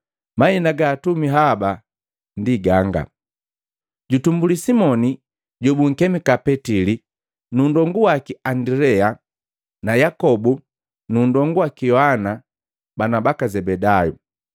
Mahina ga atumi haba ganga: jutumbuli Simoni jobunkemika Petili nundonguwaki Andilea na Yakobu nu ndongu waki Yohana bana baka Zebedayu.